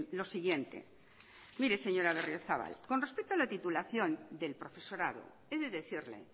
lo siguiente mire señora berriozabal con respecto a la titulación del profesorado he de decirle